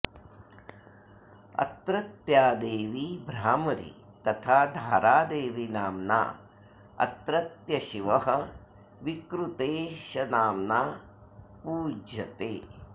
अत्रत्या देवी भ्रामरी तथा धारादेवीनाम्ना अत्रत्यशिवः विकृतेशनाम्ना पूज्यते